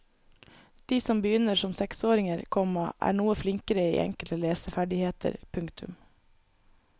De som begynner som seksåringer, komma er noe flinkere i enkelte leseferdigheter. punktum